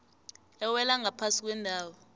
ewela ngaphasi kwendawo